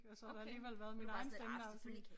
Og så har der alligevel været min egen stemme der har sådan